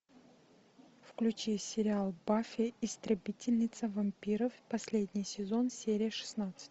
включи сериал баффи истребительница вампиров последний сезон серия шестнадцать